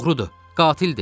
O oğrudur, qatildir.